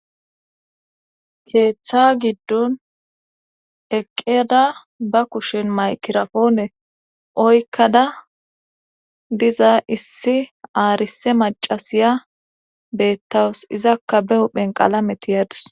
keeththa giddon eqqeda ba kushen maykirafoone oykkada diza issi aarise macasiya beettawus izakka be huphen qalametiyadus